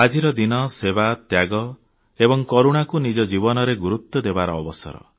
ଆଜିର ଦିନ ସେବା ତ୍ୟାଗ ଏବଂ କରୁଣାକୁ ନିଜ ଜୀବନରେ ଗୁରୁତ୍ୱ ଦେବାର ଅବସର